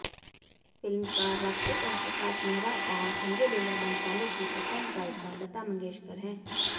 फिल्मकार राकेश ओमप्रकाश मेहरा और संजय लीला भंसाली की पसंद गायिका लता मंगेशकर हैं